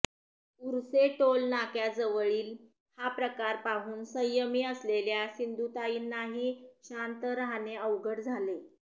उर्से टोलनाक्याजवळील हा प्रकार पाहून संयमी असलेल्या सिंधुताईंनाही शांत राहणे अवघड झाले